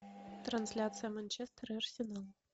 трансляция манчестер и арсенал